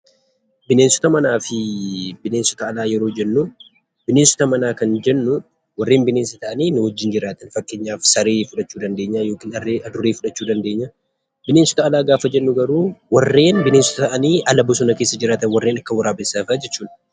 Bineensota manaa fi bineensota alaa yammuu jennuu; bineensota manaa kan jennuu kanneen bineensa ta'anii nu wajjiin jiraatan. Fakkeenyaaf saree fudhachuu dandeenya yookiin immoo Harree fi Adurree fudhachuu dandeenya. Bineensota alaa gaaafa jennu garuu warreen bineensa ta'anii ala bosona keessa jiraataniidha. Fakkeenyaaf warreen akka Waraabessaa fa'aa jechuu dha.